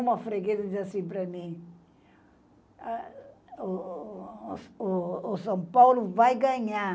Uma freguesa dizia assim para mim, o o o o o São Paulo vai ganhar.